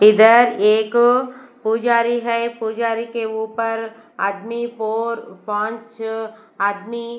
इधर एक पुजारी है पुजारी के ऊपर आदमी फोर पांच आदमी--